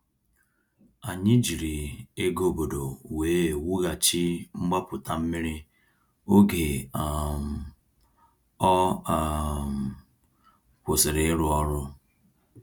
Anyị jiri ego obodo wee wughachi mgbapụta mmiri oge um ọ um kwụsịrị ịrụ ọrụ.